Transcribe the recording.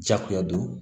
Jakuya don